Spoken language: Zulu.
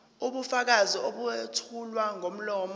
ubufakazi obethulwa ngomlomo